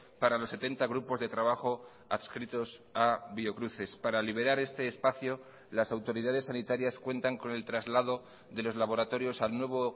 para los setenta grupos de trabajo adscritos a biocruces para liberar este espacio las autoridades sanitarias cuentan con el traslado de los laboratorios al nuevo